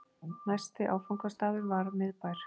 Næsti áfangastaður var Miðbær.